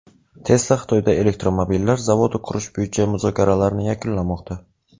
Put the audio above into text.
Tesla Xitoyda elektromobillar zavodi qurish bo‘yicha muzokaralarni yakunlamoqda.